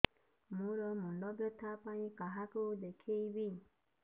ମୋର ମୁଣ୍ଡ ବ୍ୟଥା ପାଇଁ କାହାକୁ ଦେଖେଇବି